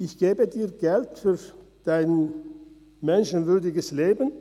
– Er gibt einem Geld für ein menschenwürdiges Leben.